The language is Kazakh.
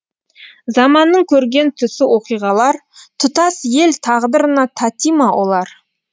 заманның көрген түсі оқиғалар тұтас ел тағдырына тати ма олар